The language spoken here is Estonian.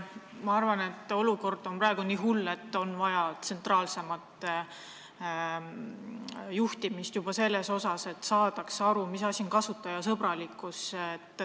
Ma arvan, et olukord on praegu nii hull, et on vaja tsentraalsemat juhtimist juba selles osas, et saadaks aru, mis asi on kasutajasõbralikkus.